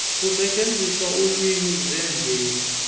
ukusetyenziswa kweelwimi zemveli